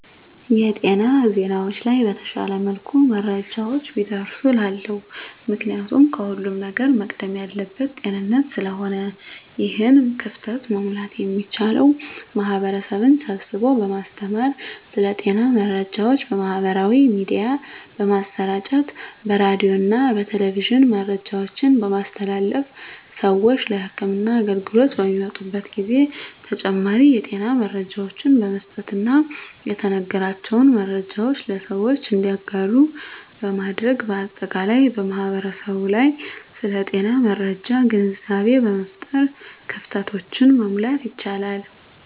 የጤና ዜናዎች ላይ በተሻለ መልኩ መረጃዎች ቢደርሱ እላለሁ። ምክንያቱም ከሁለም ነገር መቅደም ያለበት ጤንነት ስለሆነ ነው። ይህን ክፍተት መሙላት የሚቻለው ማህበረሰብን ስብስቦ በማስተማር ስለ ጤና መረጃዎች በማህበራዊ ሚዲያ በማሰራጨት በሬዲዮና በቴሌቪዥን መረጃዎችን በማስተላለፍ ስዎች ለህክምና አገልግሎት በሚመጡበት ጊዜ ተጨማሪ የጤና መረጃዎችን በመስጠትና የተነገራቸውን መረጃዎች ለሰዎች እንዲያጋሩ በማድረግ በአጠቃላይ በማህበረሰቡ ላይ ስለ ጤና መረጃ ግንዛቤ በመፍጠር ክፍተቶችን መሙላት ይቻላል።